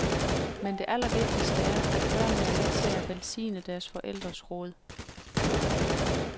Men det allervigtigste er, at børnene er med til at velsigne deres forældres rod.